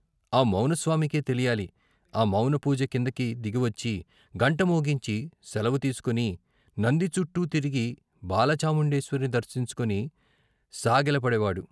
ఆ మౌన స్వామికే తెలియాలి ఆ మౌన పూజ కిందకి దిగివచ్చి గంట మోగించి శలవు తీసుకుని, నందిచుట్టూ తిరిగి బాల చాముండేశ్వరిని దర్శించుకుని సాగెలపడేవాడు.